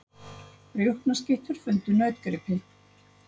Rjúpnaskyttur fundu nautgripi